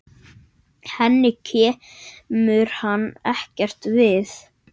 Henni kemur hann ekkert við.